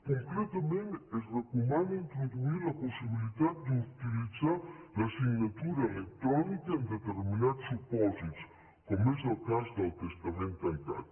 concretament es recomana introduir la possibilitat d’utilitzar la signatura electrònica en determinats supòsits com és el cas del testament tancat